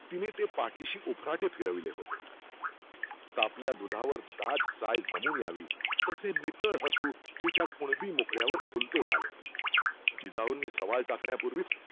तिने ते पाढीशी उफराटें फिरवले होते. तापल्या दुधावर दाट साय जमून यावी तसे नितळ हसु तिच्या कुणबी मुखड्यावर खुलते झाले. जिजाउनी सवाल टाकण्यापूर्वीच